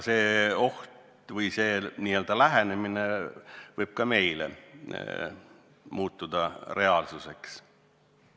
Kogu see lähenemine võib ka meil muutuda reaalsuseks.